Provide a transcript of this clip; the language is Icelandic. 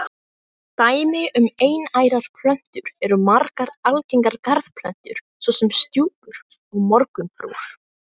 Dæmi um einærar plöntur eru margar algengar garðplöntur svo sem stjúpur og morgunfrúr.